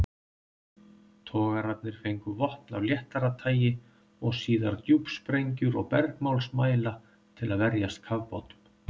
Togararnir fengu vopn af léttara tagi og síðar djúpsprengjur og bergmálsmæla til að verjast kafbátum.